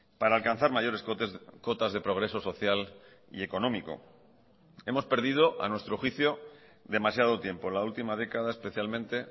para alcanzar mayores cotas de progreso social y económico hemos perdido a nuestro juicio demasiado tiempo la última década especialmente